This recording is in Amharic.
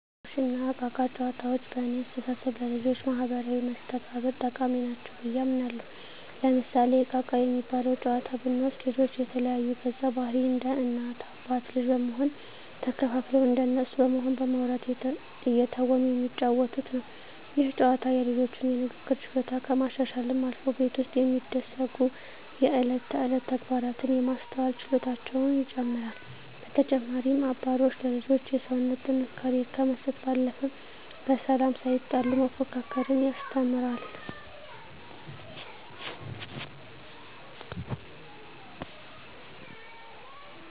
አባሮሽ እና እቃ እቃ ጨዋታዎች በእኔ አስተሳሰብ ለልጆች ማህበራዊ መስተጋብር ጠቃሚ ናቸው ብየ አምናለሁ። ለምሳሌ እቃ እቃ የሚባለውን ጨዋታ ብንወስድ ልጆች የተለያዩ ገፀባህርይ እንደ እናት አባት ልጅ በመሆን ተከፋፍለው እንደነሱ በመሆን በማዉራት እየተወኑ የሚጫወቱት ነው። ይህ ጨዋታ የልጆቹን የንግግር ችሎታ ከማሻሻልም አልፎ ቤት ውስጥ የሚደሰጉ የእለት ተእለት ተግባራትን የማስተዋል ችሎታቸውን ይጨመራል። በተጨማሪም አባሮሽ ለልጆች የሰውነት ጥንካሬ ከመስጠት ባለፈ በሰላም ሳይጣሉ መፎካከርን ያስተምራል።